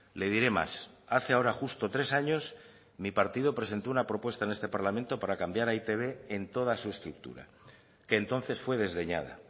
le diré más hace ahora justo tres años mi partido presentó una propuesta en este parlamento para cambiar a e i te be en toda su estructura que entonces fue desdeñada